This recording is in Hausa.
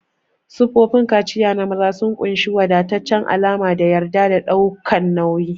Siffofin kaciya na maza sun ƙunshi wadataccen alama da yarda da ɗaukan nauyi.